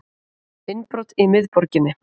Innbrot í miðborginni